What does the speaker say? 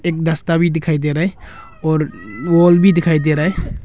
रास्ता भी दिखाई दे रहा है और वॉल भी दिखाई दे रहा है।